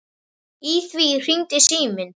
Í því hringdi síminn.